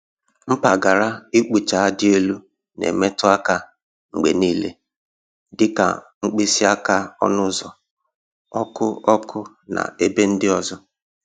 Mpaghara ịkpụcha dị elu na-emetụ aka mgbe niile, dị ka mkpịsị aka ọnụ ụzọ, ọkụ ọkụ, na ebe ndị ọzọ.